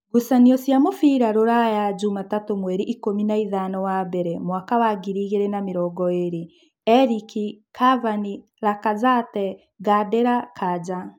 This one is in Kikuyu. Ngucanio cia mũbira Ruraya Jumatatũ mweri ikũmi na ithano wa mbere mwaka wa ngiri igĩrĩ na namĩrongoĩrĩ: Erĩki, Kavani, Rakazete, Ngandira, Kanja